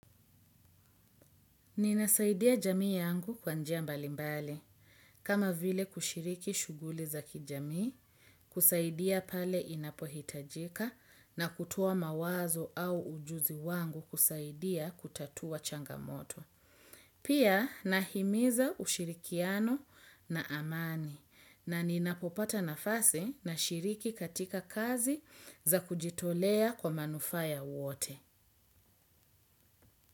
Ninasaidia jamii yangu kwanjia mbalimbali. Kama vile kushiriki shughuli za kijamii kusaidia pale inapohitajika na kutoa mawazo au ujuzi wangu kusaidia kutatua changamoto. Pia nahimiza ushirikiano na amani na ninapopata nafasi na shiriki katika kazi za kujitolea kwa manufa ya wote.